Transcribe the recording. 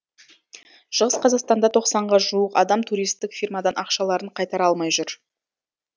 шығыс қазақстанда тоқсанға жуық адам туристік фирмадан ақшаларын қайтара алмай жүр